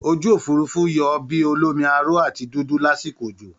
Ojú òfuurufú yọ bí olómi aró àti dúdú lásìkò òjò